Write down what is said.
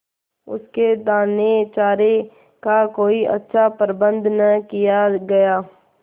उसके दानेचारे का कोई अच्छा प्रबंध न किया गया